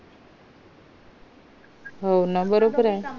हो ना बरोबर ये